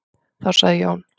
Þá sagði Jón: